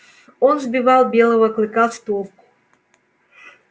он сбивал белого клыка с толку